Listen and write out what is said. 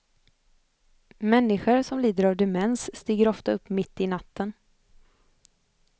Människor som lider av demens stiger ofta upp mitt i natten.